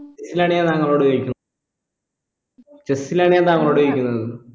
ലാണ് താങ്കളോട് ചോദിക്ക്ന്ന് chess ലാണ് ഞാൻ താങ്കളോട് ചോദിക്കുന്നത്